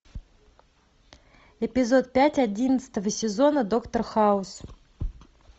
эпизод пять одиннадцатого сезона доктор хаус